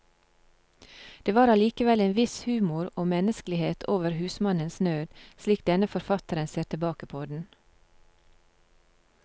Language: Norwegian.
Det var allikevel en viss humor og menneskelighet over husmannens nød, slik denne forfatteren ser tilbake på den.